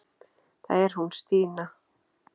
Það er hún Stína.